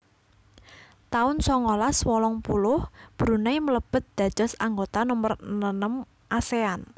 taun songolas wolung puluh Brunei mlebet dados anggota nomer nenem Asean